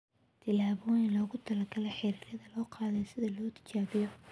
Tijaabooyin loogu talagalay xiriirada ayaa loo qaaday si loo tijaabiyo.